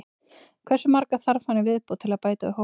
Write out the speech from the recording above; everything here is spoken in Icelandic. Hversu marga þarf hann í viðbót til að bæta við hópinn?